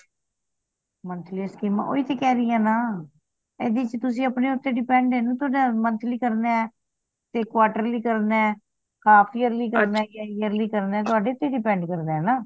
monthly scheme ਓਹੀ ਤੇ ਕਹਿ ਰਿਆ ਨਾ ਇਹਦੇ ਚ ਤੁਸੀ ਆਪਣੇ ਤੇ depend ਐ ਨਾ ਤੁਹਾਡਾ monthly ਕਰਨਾ ਤੇ quarterly ਕਰਨਾ half yearly ਕਰਨਾ yearly ਕਰਨਾ ਤੁਹਾਡੇ ਤੇ depend ਕਰਦਾ ਨਾ